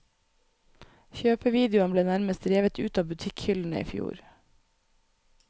Kjøpevideoen ble nærmest revet ut av butikkhyllene i fjor.